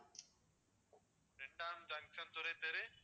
இரண்டாம் ஜங்ஷன் துறை தெரு